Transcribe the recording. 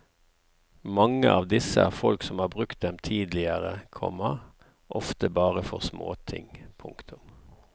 Mange av disse er folk som har brukt dem tidligere, komma ofte bare for småting. punktum